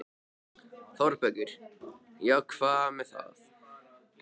ÞÓRBERGUR: Já, og hvað með það?